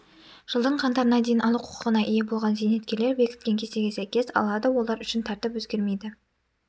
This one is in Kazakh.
жылдың қаңтарына дейін алу құқығына ие болған зейнеткерлер бекіткен кестеге сәйкес алады олар үшін тәртіп өзгермейді